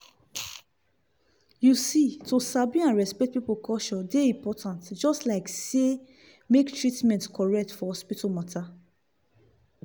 you see to sabi and respect people culture dey important just like say make treatment correct for hospital matter.